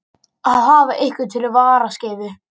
Að hafa einhvern fyrir varaskeifu